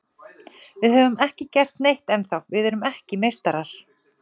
Við höfum ekki gert neitt ennþá, við erum ekki meistarar.